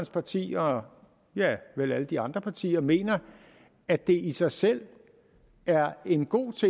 parti og vel alle de andre partier mener at det i sig selv er en god